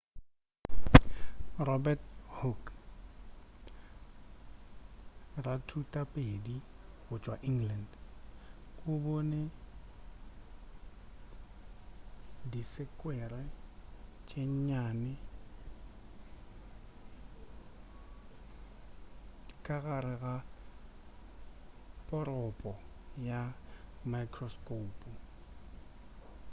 robert hooke rathutaphedi go tšwa england o bone disekwere tše nnyane ka gare ga poropo ka mikrosekoupo